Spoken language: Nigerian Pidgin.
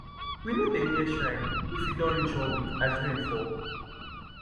we no dey near shrine if e don reach one week as rain fall